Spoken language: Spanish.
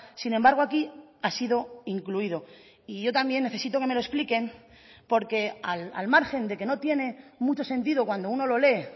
sin embargo aquí ha sido incluido y yo también necesito que me lo expliquen porque al margen de que no tiene mucho sentido cuando uno lo lee